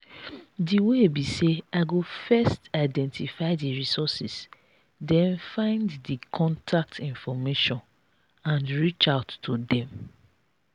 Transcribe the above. di way be say i go first identify di resources den find di contact information and reach out to dem.